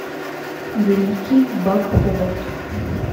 великий бак ховард